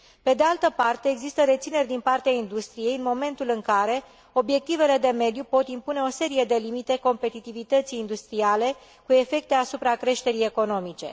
Pe de altă parte, există rețineri din partea industriei în momentul în care obiectivele de mediu pot impune o serie de limite competitivității industriale cu efecte asupra creșterii economice.